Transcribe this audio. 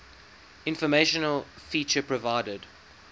informational feature provided